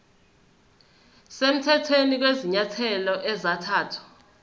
semthethweni kwezinyathelo ezathathwa